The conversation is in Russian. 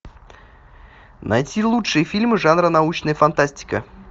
найти лучшие фильмы жанра научная фантастика